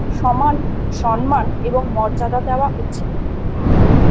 সমান সম্মান এবং মর্যাদা দেওয়া উচিত।